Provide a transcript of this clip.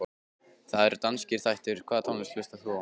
Það eru danskir þættir Hvaða tónlist hlustar þú á?